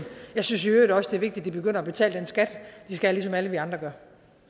jeg synes i øvrigt også det er vigtigt at de begynder at betale den skat de skal ligesom alle vi andre gør